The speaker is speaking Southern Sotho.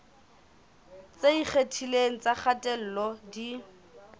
tse ikgethileng tsa kgatello di